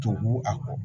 To a kɔ